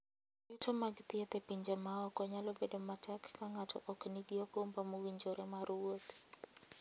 Yuto mag thieth e pinje maoko nyalo bedo matek ka ng'ato ok nigi okumba mowinjore mar wuoth.